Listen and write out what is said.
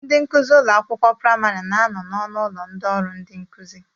Ndị nkuzi ụlọ akwụkwọ praịmarị na-anọ n'ọnụ ụlọ ndị ọrụ ndi nkụzi